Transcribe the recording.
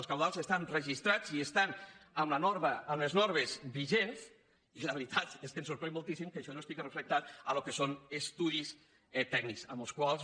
els cabals estan registrats i estan amb les normes vigents i la veritat és que ens sorprèn moltíssim que això no estigui reflectit en el que són estudis tècnics amb els quals